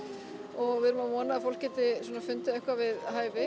og við erum að vona að fólk geti svona fundið eitthvað við hæfi